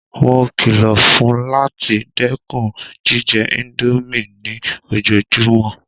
Mó kìlọ̀ fún láti dẹ́kun jíjẹ ińdómì ní ojoojúmọ́!